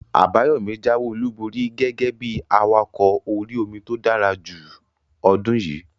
Àbáyọ̀mí jáwé olùborí gẹ́gẹ́ bí awakọ̀ orí-omi tó dára jù ọdún yìí